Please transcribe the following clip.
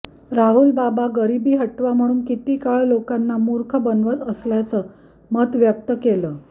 राहुल बाबा गरिबी हटाव म्हणून किती काळ लोकांना मूर्ख बनवत असल्याचं मत व्यक्त केलं